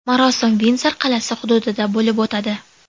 Marosim Vindzor qal’asi hududida bo‘lib o‘tadi.